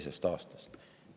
] aastast.